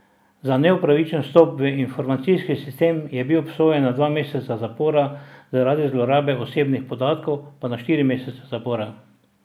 Za neupravičen vstop v informacijski sistem je bil obsojen na dva meseca zapora, zaradi zlorabe osebnih podatkov pa na štiri mesece zapora.